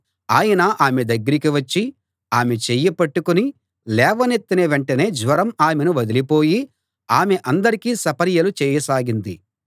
ఆయన ఆమె దగ్గరికి వచ్చి ఆమె చెయ్యి పట్టుకుని లేవనెత్తిన వెంటనే జ్వరం ఆమెను వదిలిపోయి ఆమె అందరికీ సపర్యలు చేయసాగింది